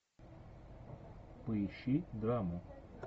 поищи драму